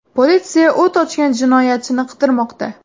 Politsiya o‘t ochgan jinoyatchini qidirmoqda.